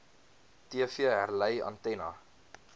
tv herlei antenna